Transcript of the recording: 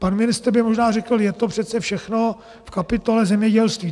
Pan ministr by možná řekl: je to přece všechno v kapitole zemědělství.